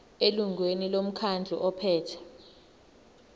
elungwini lomkhandlu ophethe